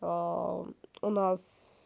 а у нас